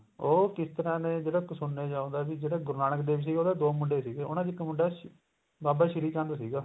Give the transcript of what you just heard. ਉਹ ਕਿਰ ਤਰ੍ਹਾਂ ਨੇ ਜਿਹੜਾ ਸੁਣਨੇ ਚ ਆਉਂਦਾ ਵੀ ਜਿਹੜਾ ਗੁਰੂ ਨਾਨਕ ਦੇਵ ਜੀ ਉਹਦੇ ਦੋ ਮੁੰਡੇ ਸੀਗੇ ਉਹਨਾ ਚ ਇੱਕ ਮੁੰਡਾ ਬਾਬਾ ਸ਼੍ਰੀ ਚੰਦ ਸੀਗਾ